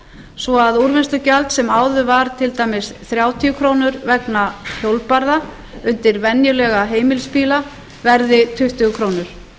svo að úrvinnslugjald sem áður var til dæmis þrjátíu krónur vegna hjólbarða undir venjulega heimilisbíla verði tuttugu krónur